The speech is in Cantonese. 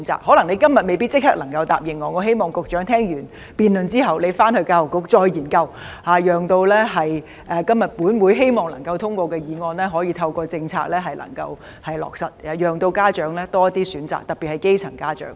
可能局長今天未必立即能夠答應我，我希望他聽完辯論後再研究，讓本會今天能夠通過議案，以透過政策讓家長有多些選擇，特別是基層家長。